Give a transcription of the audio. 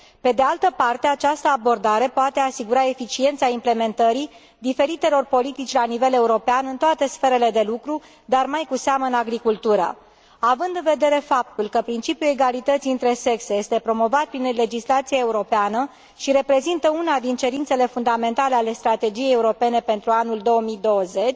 Pe de altă parte, această abordare poate asigura eficiența implementării diferitelor politici la nivel european în toate sferele de lucru, dar mai cu seamă în agricultură. Având în vedere faptul că principiul egalității între sexe este promovat prin legislația europeană și reprezintă una dintre cerințele fundamentale ale Strategiei europene pentru anul 2020,